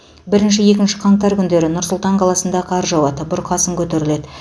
бірінші екінші қаңтар күндері нұр сұлтан қаласында қар жауады бұрқасын көтеріледі